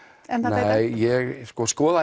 nei ég skoða